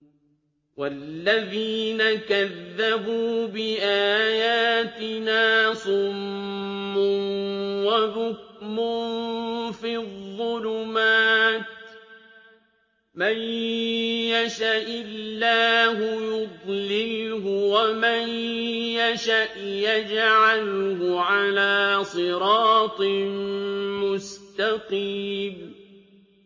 وَالَّذِينَ كَذَّبُوا بِآيَاتِنَا صُمٌّ وَبُكْمٌ فِي الظُّلُمَاتِ ۗ مَن يَشَإِ اللَّهُ يُضْلِلْهُ وَمَن يَشَأْ يَجْعَلْهُ عَلَىٰ صِرَاطٍ مُّسْتَقِيمٍ